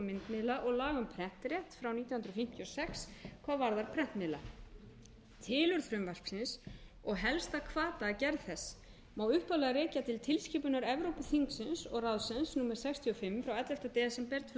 myndmiðla og laga um prentrétt frá nítján hundruð fimmtíu og sex hvað varðar prentmiðla tilurð frumvarpsins og helsta hvata að gerð þess má upphaflega rekja til tilskipunar evrópuþingsins og ráðsins númer sextíu og fimm frá ellefta desember tvö þúsund og sjö